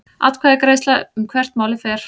Atkvæðagreiðsla um hvert málið fer